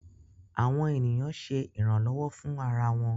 Awọn eniyan ṣe iranlọwọ fun ara wọn.